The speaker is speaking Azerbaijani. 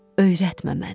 Öyrətmə məni.